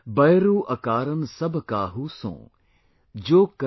"बयरु अकारन सब काहू सों।